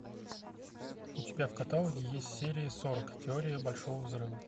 у тебя в каталоге есть серия сорок теория большого взрыва